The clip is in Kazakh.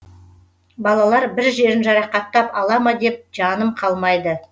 балалар бір жерін жарақаттап ала ма деп жаным қалмайды